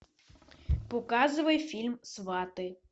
показывай фильм сваты